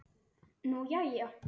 Nú, jæja.